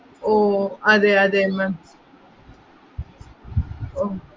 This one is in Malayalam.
ഓ അതേ അതെ ma'am ഓ